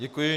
Děkuji.